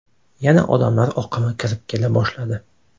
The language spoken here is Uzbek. Yana odamlar oqimi kirib kela boshladi.